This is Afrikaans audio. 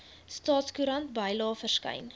staatskoerant bylae verskyn